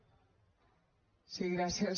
sí gràcies